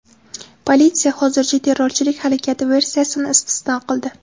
Politsiya hozircha terrorchilik harakati versiyasini istisno qildi.